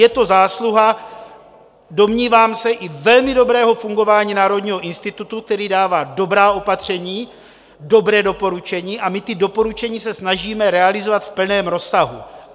Je to zásluha, domnívám se, i velmi dobrého fungování Národního institutu, který dává dobrá opatření, dobrá doporučení a my ta doporučení se snažíme realizovat v plném rozsahu.